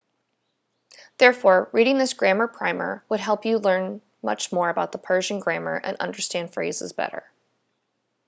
therefore reading this grammar primer would help you learn much about persian grammar and understand phrases better